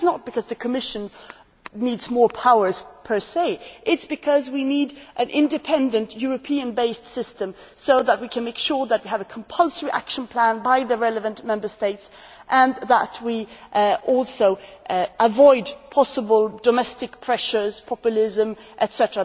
It is not because the Commission needs more powers per se it is because we need an independent European based system so that we can make sure that we have a compulsory action plan by the relevant Member States and that we can also avoid possible domestic pressures populism, etc.